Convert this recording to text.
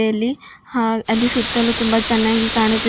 ಇಲ್ಲಿ ಹಾ ಅಲ್ಲಿ ಸುತ್ತಲೂ ತುಂಬ ಚೆನ್ನಾಗಿ ಕಾಣುತ್ತಿದೆ.